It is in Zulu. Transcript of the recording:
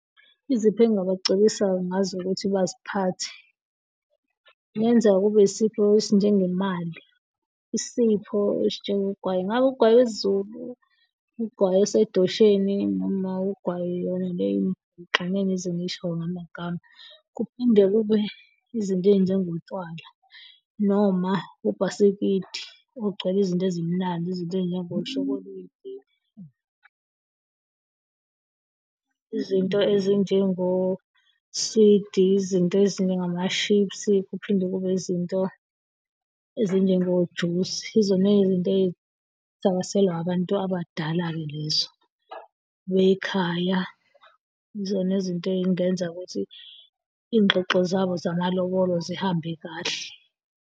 Izipho engabacebisa ngazo ukuthi baziphathe, kungenzeka kube isipho esinjengemali isipho esinjengogwayi. Ngabe ugwayi wesiZulu, ugwayi osedosheni noma kwayona leyo angeke ngize ngisho ngamagama. Kuphinde kube izinto ezinjengotshwala noma ubhasikidi ogcwele izinto ezimnandi, izinto, ezinjengoshokoledi, izinto ezinjengoswidi. Izinto ezinjengama-chips. Kuphinde kube izinto ezinjengojusi. Yizona zinto ezithakaselwa abantu abadala lezo bekhaya. Yizona izinto ezingenza ukuthi ingxoxo zamalobolo zihambe kahle.